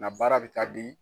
Nka baara bɛ taa di.